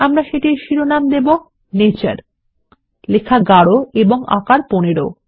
আমরা সেটির শিরোনাম দেবো নেচার লেখা গারো এবং আকার ১৫